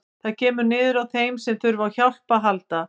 Það kemur niður á þeim sem þurfa á hjálp að halda.